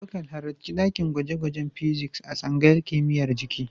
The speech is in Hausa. Abubakar, halarci dakin gwaje-gwajen Physics a tsangayar kimiyyar jiki.